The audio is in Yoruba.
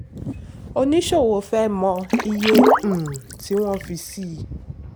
oníṣòwò fẹ́ mọ iye um tí wọ́n fi sí.